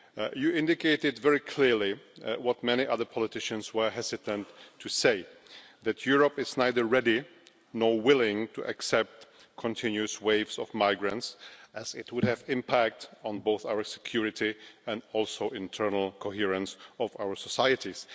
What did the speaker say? You indicated very clearly what many other politicians were hesitant to say, namely that Europe is neither ready nor willing to accept continuous waves of migrants, as it would have an impact on both our security and the internal coherence of our societies.